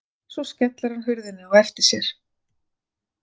Svo skellir hann hurðinni á eftir sér.